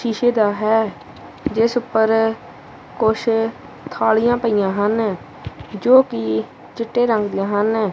ਸ਼ੀਸ਼ੇ ਦਾ ਹੈ ਜਿਸ ਉੱਪਰ ਕੁਛ ਥਾਲੀਆਂ ਪਈਆਂ ਹਨ ਜੋ ਕਿ ਚਿੱਟੇ ਰੰਗ ਦੀਆਂ ਹਨ।